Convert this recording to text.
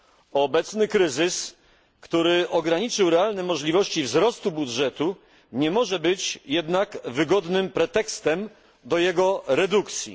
Obecny kryzys, który ograniczył realne możliwości wzrostu budżetu, nie może być jednak wygodnym pretekstem do jego redukcji.